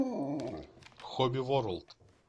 хобби ворлд